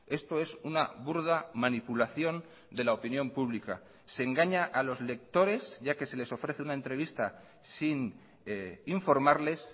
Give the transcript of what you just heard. esto es una burda manipulación de la opinión pública se engaña a los lectores ya que se les ofrece una entrevista sin informarles